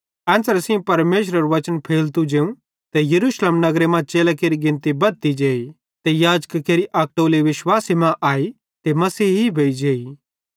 एन्च़रे सेइं परमेशरेरू बच्चन फैलतु जेवं ते यरूशलेम नगरे मां चेलां केरि गिनती बद्धती जेई ते याजकां केरि अक टोली विश्वासे मां आई ते मसीही भोइजेइ